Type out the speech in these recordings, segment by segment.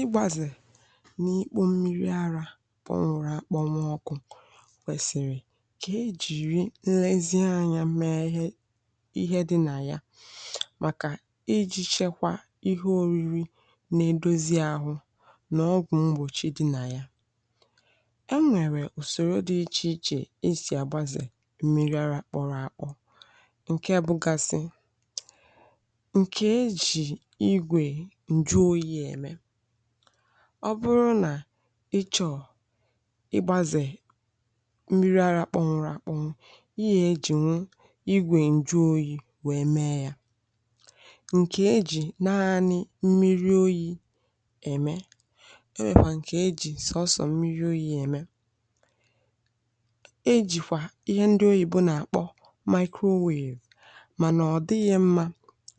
Ịgbazè n’ịkpọ mmiri ara kpọnwụrụ akpọnwụ ọkụ kwesịrị ka eji nlezianya mee ihe dị na ya, maka iji chekwaa ihe oriri na-edozi ahụ n’ọgwụ mgbòchi dị na ya. E nwekwara ụzọ dị iche iche isi agba mmiri ara kpọrọ akpọ, dịka bụgasị, ńju oyi, maọbụ êmẹ. Ọ bụrụ na ị chọrọ ịgbazè mmiri ara kpọmụrụ akpọ, ị nwere ike iji nwa igwe ńju oyi mee ya, nke eji naanị mmiri oyi êmẹ. E nwekwara ụzọ eji sọsọ̀ mmiri oyi êmẹ, e jiikwa ihe ndị oyìbo na-akpọ microwave, mana ọ dịghị mma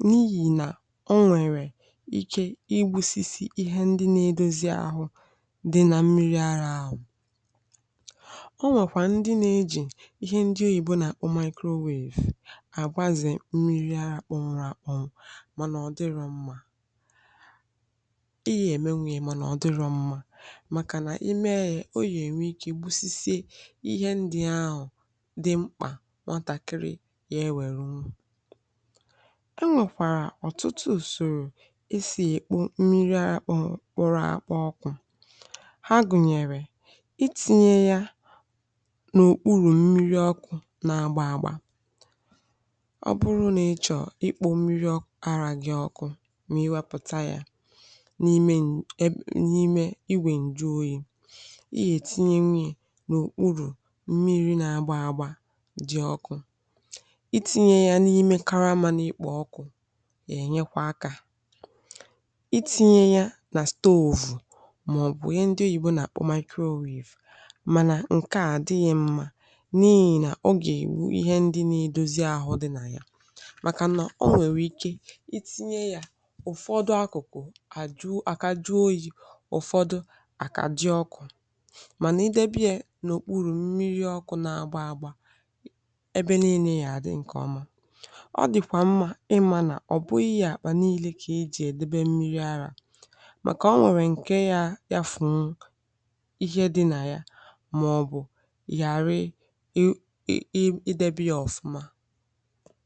n’ihi na o nwere ike imerụ ihe ndị na-edozi ahụ dị na mmiri ara ahụ. Ọ nwekwara ndị na-eji ihe ndị oyìbo na microwave agbazè mmiri akpụnwụrụ akpụnwụrụ, mana ọ dịrọ mma maọbụ ọ dịrọ mma maka na ime ya nwere ike gbuo ihe ndị ahụ dị mkpa nọtakịrị ya. E nwere ọtụtụ ụzọ kpụrụ akpụ ọkụ ha gụnyere itinye ya n’ọkpụrụ mmiri ọkụ na agba agba. Ọ bụrụ na ịchọ ịkpụ mmiri ara gị ọkụ maka iwepụta ya n’ime iwe ńjuoyi, ị nwere ike itinye ngwa n’ọkpụrụ mmiri na agba agba dị ọkụ, itinye ya n’ime karama na ikpò ọkụ, itinye ya na igwe isi nri maọbụ ihe ndị oyìgbọ na-akpọ microwave. Mana nke a dịghị mma n’ihi na ogeghị ihe ndị na-edozi ahụ dị na ya, maka na o nwere ike itinye ya ụ̀fọdụ akụ̀kụ àkà jụrụ oyi, ụ̀fọdụ àkà jụrụ ọkụ. Maka i debe ya n’ọkpụrụ mmiri ọkụ na agba agba ebe niile, ya dị nke ọma, ọ dịkwa mma ịmara ọ bụghị ihe akpà niile ka i jiri, maka ọ nwere ike furu ihe dị na ya maọbụ gbarịrị i debi ya ọfụma.